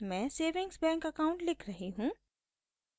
मैं savings bank account लिख रही हूँ